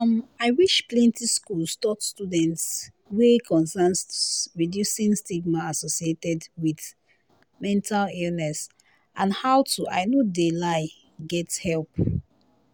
um i wish plenti schools taught students wey concern reducing stigma associated wit mental illness and how to i no de lie get help.